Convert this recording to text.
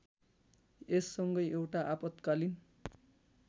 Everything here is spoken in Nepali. यससँगै एउटा आपत्कालीन